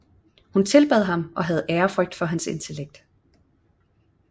Hun tilbad ham og havde ærefrygt for hans intellekt